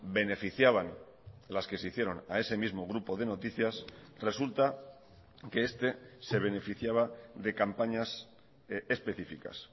beneficiaban las que se hicieron a ese mismo grupo de noticias resulta que este se beneficiaba de campañas específicas